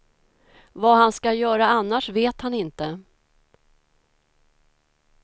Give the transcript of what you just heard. Vad han ska göra annars vet han inte.